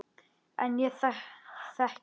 En ég þekki hana.